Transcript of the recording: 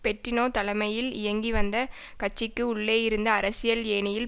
Bettino தலைமையில் இயங்கிவந்த கட்சிக்கு உள்ளேயிருந்து அரசியல் ஏணியில்